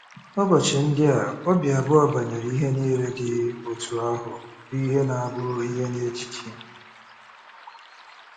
Ụbọchị ndị a, obi abụọ banyere ihe niile dị otú ahụ bụ ihe na bụ ihe na ejiji.